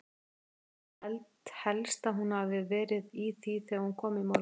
Ég held helst að hún hafi verið í því þegar hún kom í morgun.